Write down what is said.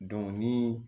ni